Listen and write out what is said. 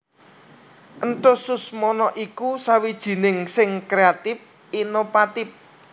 Enthus Susmono iku sawijining sing kreatif inovatif